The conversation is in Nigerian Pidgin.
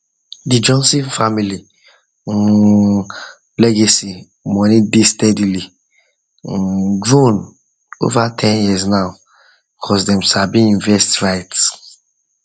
the johnson family um legacy money dey steadily um grow over ten years now because them sabi invest right um